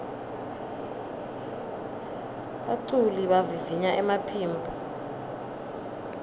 baculi bavivinya emaphimbo